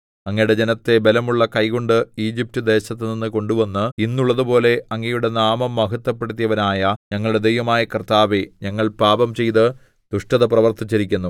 അങ്ങയുടെ ജനത്തെ ബലമുള്ള കൈകൊണ്ട് ഈജിപ്റ്റ്ദേശത്തുനിന്ന് കൊണ്ടുവന്ന് ഇന്നുള്ളതുപോലെ അങ്ങയുടെ നാമം മഹത്വപ്പെടുത്തിയവനായ ഞങ്ങളുടെ ദൈവമായ കർത്താവേ ഞങ്ങൾ പാപംചെയ്ത് ദുഷ്ടത പ്രവർത്തിച്ചിരിക്കുന്നു